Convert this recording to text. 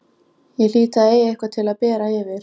Ég hlýt að eiga eitthvað til að bera yfir.